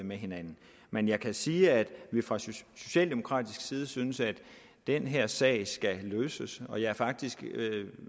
med hinanden men jeg kan sige at vi fra socialdemokratisk side synes at den her sag skal løses og jeg er faktisk